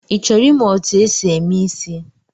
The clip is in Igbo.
Ị chọrọ imụ etu e si eme isị̣?